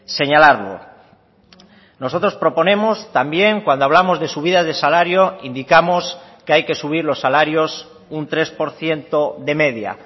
señalarlo nosotros proponemos también cuando hablamos de subida de salario indicamos que hay que subir los salarios un tres por ciento de media